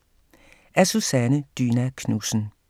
Af Susanne Dyna Knudsen